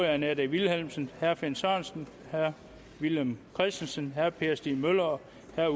annette vilhelmsen finn sørensen villum christensen per stig møller